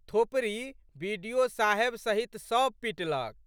थोपड़ी बि.डि.ओ.साहेब सहित सब पिटलक।